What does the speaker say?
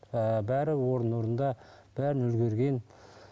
ыыы бәрі орын орнында бәріне үлгерген